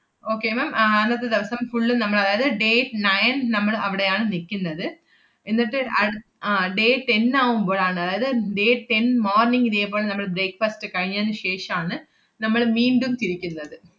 okay ma'am ആഹ് അന്നത്തെ ദെവസം full ഉം നമ്മൾ അതായത് day nine നമ്മള് അവടെയാണ് നിക്കുന്നത്. എന്നിട്ട് അട്~ ആഹ് day ten നാവുമ്പഴാണ്, അതായത് day ten morning ഇതേപോലെ നമ്മൾ breakfast കഴിഞ്ഞതിനു ശേഷാണ് നമ്മള് മീണ്ടും തിരിക്കുന്നത്.